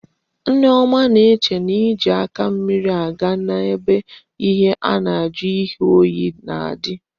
Nneoma na eche na eji aka mmiri aga na ebe ihe na aju ihe oyi na adi